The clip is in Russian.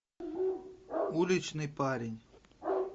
уличный парень